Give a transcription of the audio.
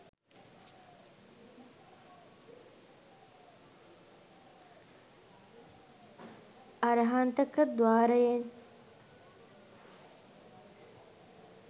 අරහන්තක ද්වාරයෙන්